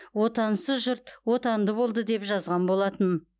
отансыз жұрт отанды болды деп жазған болатын